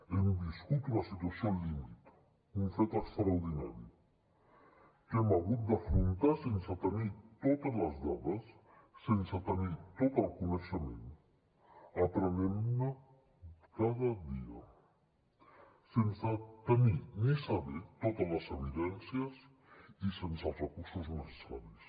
hem viscut una situació límit un fet extraordinari que hem hagut d’afrontar sense tenir totes les dades sense tenir tot el coneixement aprenent ne cada dia sense tenir ni saber totes les evidències i sense els recursos necessaris